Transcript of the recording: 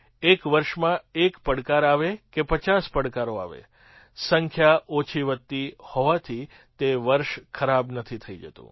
એક વર્ષમાં એક પડકાર આવે કે પચાસ પડકારો આવે સંખ્યા ઓછીવત્તી હોવાથી તે વર્ષ ખરાબ નથી થઈ જતું